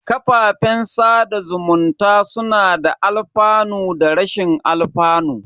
Kafafen sada zumunta suna da alfanu da rashin alfanu.